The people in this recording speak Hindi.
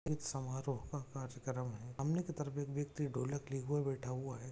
एक समारोह का कार्यक्रम हैं सामने कि तरफ एक व्यक्ति ढोलक लिये हुए बेठा हुआ है।